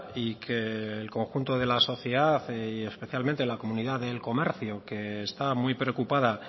y que el conjunto de la sociedad y especialmente la comunidad del comercio que está muy preocupada